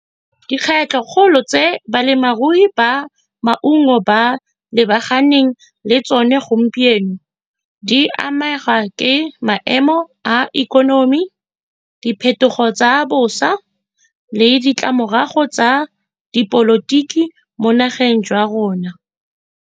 Dikgwetlho kgolo tse balemarui ba maungo ba lebaganeng le tsone gompieno, di amega ke maemo a ikonomi, diphetogo tsa bosa, le ditlamorago tsa dipolotiki mo nageng jwa rona.